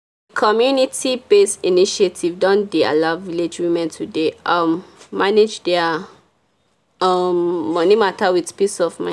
community-based initiative don dey allow village women to dey um manage their um money matter with peace of min.